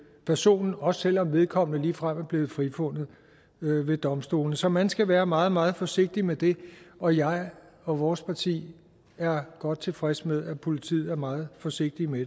personen også selv om vedkommende ligefrem er blevet frifundet ved ved domstolene så man skal være meget meget forsigtig med det og jeg og vores parti er godt tilfreds med at politiet er meget forsigtig med